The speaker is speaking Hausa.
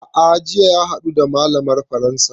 A'a jiya ya haɗu da malamar faransa